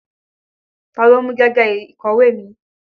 Ta ló mú gègé ìkọ̀wé mi?